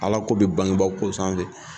Ala ko be bangeba ko sanfɛ